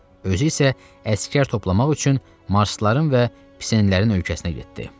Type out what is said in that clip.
Özü isə əsgər toplamaq üçün marsların və pisenlərin ölkəsinə getdi.